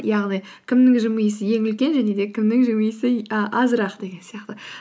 яғни кімнің жымиысы ең үлкен және де кімнің жымиысы и і азырақ деген сияқты